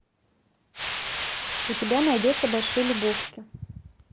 у тебя найдется большой лебовски